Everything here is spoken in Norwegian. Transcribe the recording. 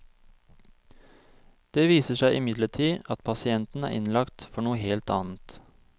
Det viser seg imidlertid at pasienten er innlagt for noe helt annet.